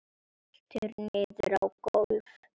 Veltur niður á gólf.